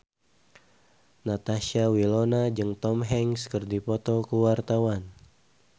Natasha Wilona jeung Tom Hanks keur dipoto ku wartawan